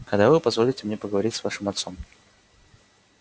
когда вы позволите мне поговорить с вашим отцом